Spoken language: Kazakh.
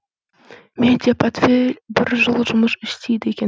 медиа портфель бір жыл жұмыс істейді екен